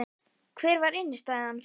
Hver var innistæðan?